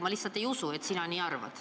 Ma lihtsalt ei usu, et sa nii arvad.